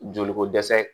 Joli ko dɛsɛ